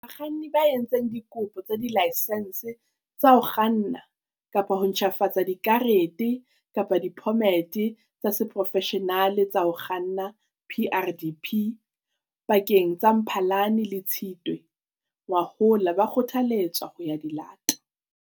Bakganni ba entseng dikopo tsa dilaesense tsa ho kganna kapa ho ntjhafatsa dikarete kapa diphomete tsa seporofeshenale tsa ho kganna, PrDP, pakeng tsa Mphalane le Tshitwe ngwahola ba kgothaletswa ho ya di lata.